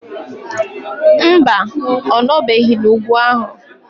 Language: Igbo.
Mba, ọ nọbeghị n'ugwu ahụ.